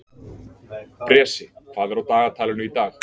Bresi, hvað er á dagatalinu í dag?